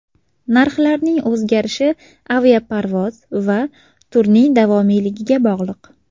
Narxlarning o‘zgarishi aviaparvoz va turning davomiyligiga bog‘liq.